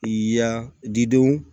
I y'a di denw